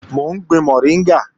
Mò ń gbin mọ̀ríngà